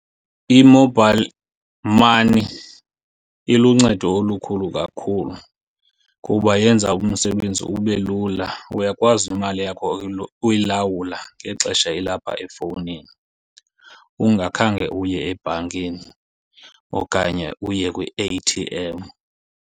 I-mobile money iluncedo olukhulu kakhulu kuba yenza umsebenzi ube lula. Uyakwazi imali yakho uyilawula ngexesha ilapha efowunini ungakhange uye ebhankeni okanye uye kwi-A_T_M.